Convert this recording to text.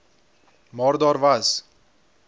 maar daar was